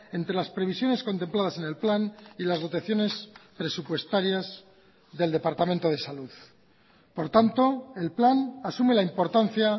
entre las previsiones contempladas en el plan y las dotaciones presupuestarias del departamento de salud por tanto el plan asume la importancia